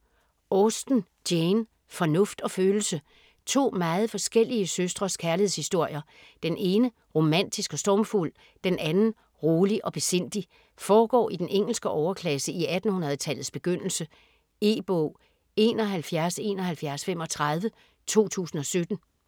Austen, Jane: Fornuft og følelse To meget forskellige søstres kærlighedshistorier. Den ene romantisk og stormfuld, den anden rolig og besindig. Foregår i den engelske overklasse i 1800-tallets begyndelse. E-bog 717135 2017.